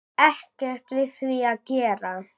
Ekkert við því að gera.